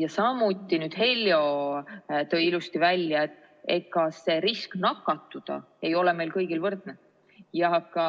Ja samuti, Heljo tõi ilusti välja, et ega see risk nakatuda ei ole meil kõigil võrdne ja ka